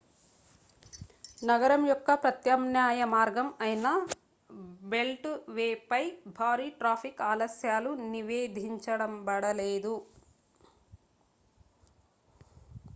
నగరం యొక్క ప్రత్యామ్నాయ మార్గం అయిన బెల్ట్ వేపై భారీ ట్రాఫిక్ ఆలస్యాలు నివేధించబడలేదు